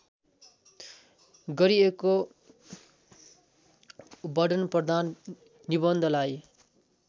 गरिएको वर्णनप्रधान निबन्धलाई